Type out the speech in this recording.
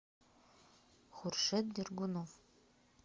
хуршет дергунов